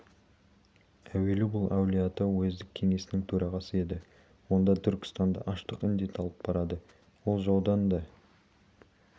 әуелі бұл әулиеата уездік кеңесінің төрағасы еді онда түркістанды аштық індеті алып барады ол жаудан да